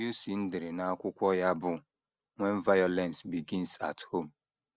Wilson dere n’akwụkwọ ya bụ́ When Violence Begins at Home.